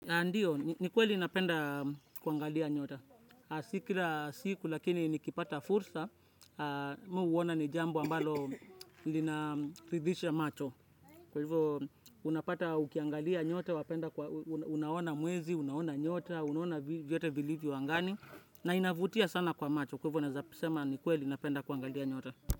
Ndiyo, ni kweli napenda kuangalia nyota. Si kila siku lakini nikipata fursa, mimi huona ni jambo ambalo linaridhisha macho. Kwa hivyo, unapata ukiangalia nyota, unaona mwezi, unaona nyota, unaona vyote vilivyo angani, na inavutia sana kwa macho. Kwa hivyo, naeza sema ni kweli napenda kuangalia nyota.